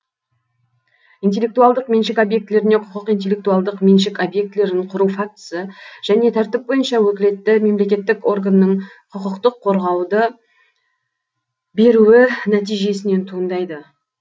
интеллектуалдық меншік объектілеріне құқық интеллектуалдық меншік объектілерін кұру фактісі және тәртіп бойынша өкілетті мемлекеттік органның құқықтық қорғауды беруі нәтижесінен туындайды